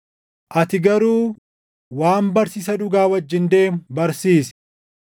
Ati garuu waan barsiisa dhugaa wajjin deemu barsiisi.